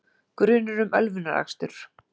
Grunur um ölvunarakstur